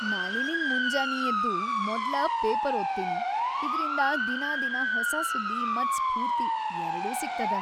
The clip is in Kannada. ನಾಳಿಲಿಂದ್‌ ಮುಂಜಾನಿ ಎದ್ದು ಮೊದ್ಲ ಪೇಪರ್‌ ಓದ್ತೀನಿ, ಇದ್ರಿಂದ ದಿನಾದಿನಾ ಹೊಸ ಸುದ್ದಿ ಮತ್ತ್‌ ಸ್ಫೂರ್ತಿ ಎರ್ಡೂ ಸಿಗ್ತದ.